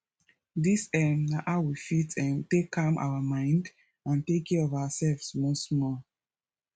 dis um na how we fit um take calm our mind and take care of our self small small